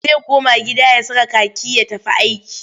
Zai koma gida ya saka kaki ya tafi aiki.